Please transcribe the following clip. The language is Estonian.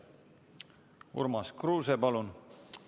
Urmas Kruuse, palun!